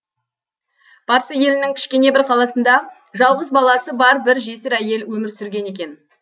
парсы елінің кішкене бір қаласында жалғыз баласы бар бір жесір әйел өмір сүрген екен